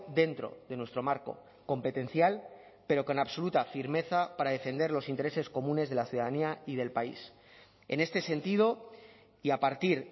dentro de nuestro marco competencial pero con absoluta firmeza para defender los intereses comunes de la ciudadanía y del país en este sentido y a partir